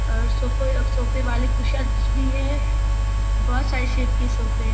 और सोफो सोफे वाले कुशनस भी हैं बहोत सारे शेप्स के सोफे --